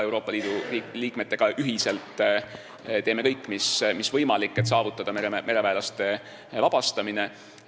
Euroopa Liidu liikmetega koos teeme me kõik, mis võimalik, et saavutada mereväelaste vabastamine.